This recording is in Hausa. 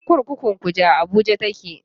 Kurkukun Kuje a Abuja take.